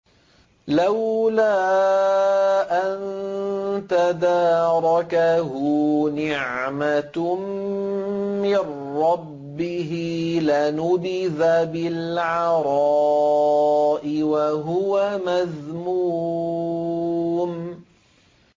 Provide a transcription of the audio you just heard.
لَّوْلَا أَن تَدَارَكَهُ نِعْمَةٌ مِّن رَّبِّهِ لَنُبِذَ بِالْعَرَاءِ وَهُوَ مَذْمُومٌ